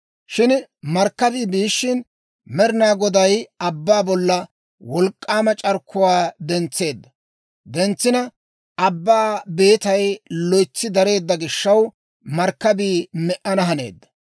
Shin markkabii biishshin, Med'inaa Goday abbaa bolla wolk'k'aama c'arkkuwaa dentseedda; dentsina abbaa beetay loytsi dareedda gishaw, markkabii me"ana haneedda.